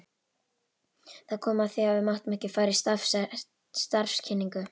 Það kom að því að við máttum fara í starfskynningu.